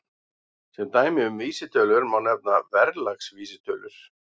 Sem dæmi um vísitölur má nefna verðlagsvísitölur.